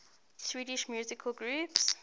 swedish musical groups